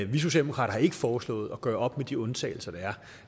vi socialdemokrater har ikke foreslået at gøre op med de undtagelser der er